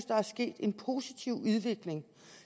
der er sket en positiv udvikling